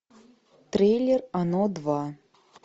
трейлер оно два